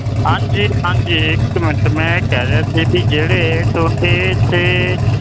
ਹਾਂਜੀ ਹਾਂਜੀ ਮੈਂ ਇਹ ਕਹਿ ਰਿਹਾ ਸੀ ਜੀ ਕਿ ਜਿਹੜੇ ਤੁਹਾਡੇ